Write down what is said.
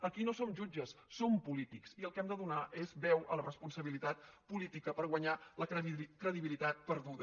aquí no som jutges som polítics i el que hem de donar és veu a la responsabilitat política per guanyar la credibilitat perduda